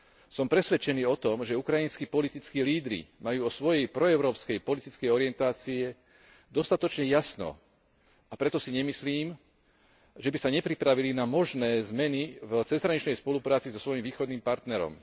Som presvedčený o tom, že ukrajinský politickí lídri majú vo svojej proeurópskej politickej orientácii dostatočne jasno, a preto si nemyslím, že by sa nepripravili na možné zmeny v cezhraničnej spolupráci so svojím východným partnerom.